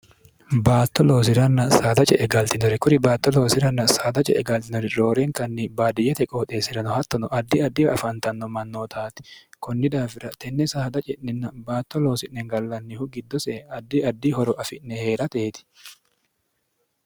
baatto loosi'ranna saada ce e galxinori kuri baatto loosi'ranna saada ce e galxinori rooreenkanni baadiyyate qooxeessi'rano hattono addi addiwa afantanno mannootaati kunni daafira tenne saada ci'ninna baatto loosi'ne gallannihu giddosee addi addi horo afi'ne hee'rateeti